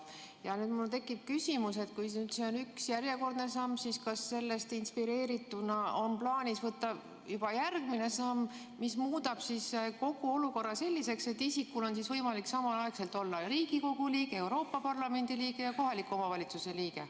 Ja nüüd mul tekib küsimus, et kui see on üks järjekordne samm, siis kas sellest inspireerituna on plaanis võtta juba järgmine samm, mis muudab kogu olukorra selliseks: isikul on võimalik samaaegselt olla Riigikogu liige, Euroopa Parlamendi liige ja kohaliku omavalitsuse liige.